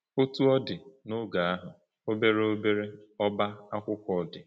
Otú ọ dị, n’oge ahụ, obere obere ọ́bá akwụkwọ dị.